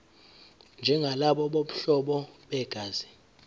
njengalabo bobuhlobo begazi